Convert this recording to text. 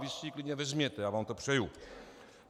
Vy si ji klidně vezměte, já vám to přeju.